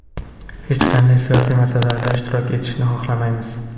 Hech qanday siyosiy masalalarda ishtirok etishni xohlamaymiz.